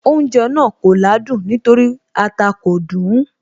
Oúnjẹ náà kò ládùn nítorí ata kò dùn ún